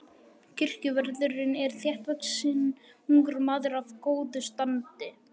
Kirkjuvörðurinn er þéttvaxinn ungur maður af góðu standi.